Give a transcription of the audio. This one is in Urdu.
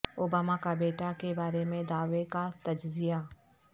اوباما کا بیٹا کے بارے میں دعوی کا تجزیہ